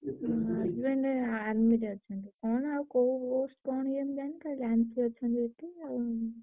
ତାଙ୍କ husband army ରେ ଅଛନ୍ତି। କଣ ଆଉ କୋଉ କଣ କେମିତି ଜାଣିନି ଖାଲି ଜାଣିଛି ଅଛନ୍ତି ଏଠି ଆଉ।